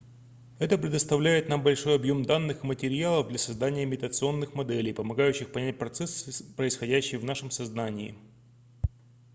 это предоставляет нам большой объем данных и материалов для создания имитационных моделей помогающих понять процессы происходящие в нашем сознании